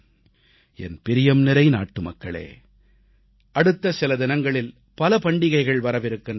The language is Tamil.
என் பிரியம்நிறை நாட்டுமக்களே அடுத்த சில தினங்களில் பல பண்டிகைகள் வரவிருக்கின்றன